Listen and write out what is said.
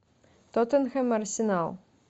тоттенхэм арсенал